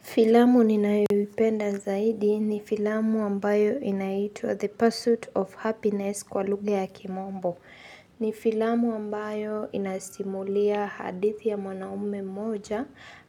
Filamu ninayoipenda zaidi ni filamu ambayo inaitwa the pursuit of happiness kwa lugha ya kimombo. Ni filamu ambayo inasimulia hadithi ya mwanaume mmoja